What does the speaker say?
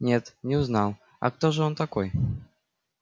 нет не узнал а кто же он такой